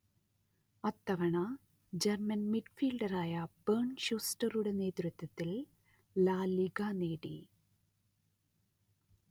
അത്തവണ German മിഡ്ഫീൽഡറായ Bernd ഷൂസ്റ്ററുടെ നേതൃത്വത്തിൽ ലാ ലിഗാ നേടി